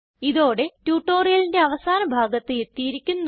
ഇതോടെ ട്യൂട്ടോറിയലിന്റെ അവസാന ഭാഗത്ത് എത്തിയിരിക്കുന്നു